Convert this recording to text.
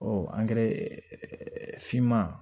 Ɔ angɛrɛ finman